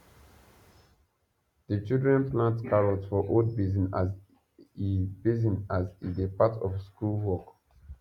the children plant carrots for old basin as e basin as e dey part of school work